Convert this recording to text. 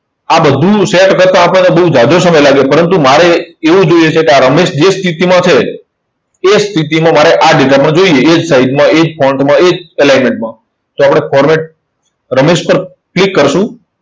આ બધું set કરતા આપણને બહુ ઝાઝો સમય લાગે. પરંતુ મારે એવું જોઈએ છે કે આ રમેશ જે સ્થિતિમાં છે, એ સ્થિતિમાં મારે આ data પણ જોઈએ. એ જ size માં એ જ માં એ જ alignment માં. તો આપણે format રમેશ પર click કરશું.